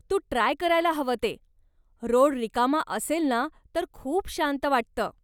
तू try करायला हवं ते, रोड रिकामा असेल ना तर खूप शांत वाटतं.